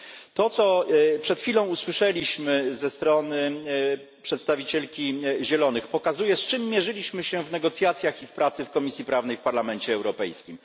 To, co przed chwilą usłyszeliśmy ze strony przedstawicielki Zielonych pokazuje, z czym mierzyliśmy się w negocjacjach i w pracy w Komisji Prawnej w Parlamencie Europejskim.